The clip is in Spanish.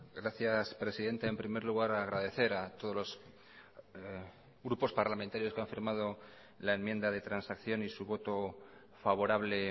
gracias presidenta en primer lugar agradecer a todos los grupos parlamentarios que han firmado la enmienda de transacción y su voto favorable